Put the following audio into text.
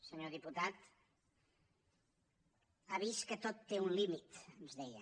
senyor diputat ha vist que tot té un límit ens deia